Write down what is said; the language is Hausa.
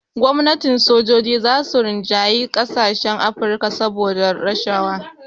Gwamnati sojoji za su rinjayi ƙasashen Afrika saboda rashawa